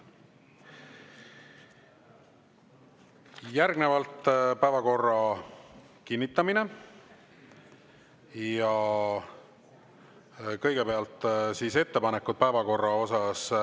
Järgnevalt on päevakorra kinnitamine ja kõigepealt ettepanekud päevakorra kohta.